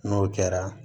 N'o kɛra